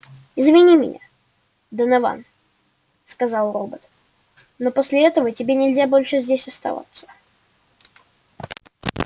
извини меня донован сказал робот но после этого тебе нельзя больше здесь оставаться